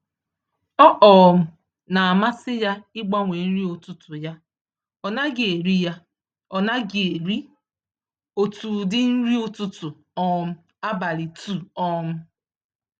Ọ um namasị ya igbanwe nri ụtụtụ ya, ọnaghị eri ya, ọnaghị eri otú ụdị nri ụtụtụ um abalị 2 um